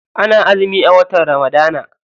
Ana azumi a watan ramadana.